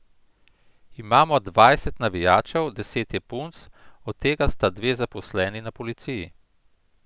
Imamo dvajset navijačev, deset je punc, od tega sta dve zaposleni na policiji.